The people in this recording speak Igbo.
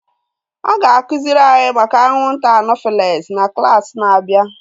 A ga akụziri anyị maka anwụnta anofels na klaasị na-abịa